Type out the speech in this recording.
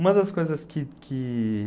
Uma das coisas que que...